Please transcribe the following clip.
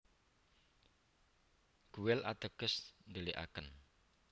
Guel ateges ndhelikaken